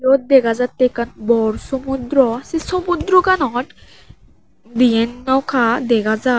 yot dega jatte ekkan bor samuddra se samuddraganot dian noka dega jai.